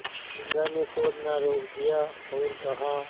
बिन्दा ने खोदना रोक दिया और कहा